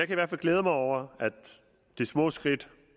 i hvert fald glæde mig over de små skridt